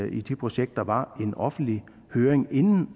i de projekter var en offentlig høring inden